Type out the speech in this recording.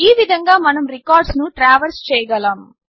ఈ విధంగా మనం రికార్డ్స్ను ట్రావర్స్ చేయగలము